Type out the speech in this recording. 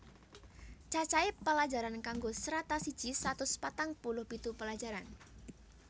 Cacahe pelajaran kanggo Strata siji satus patang puluh pitu pelajaran